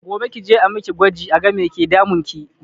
Gobe kije a miki gwaji a ga me yake damunki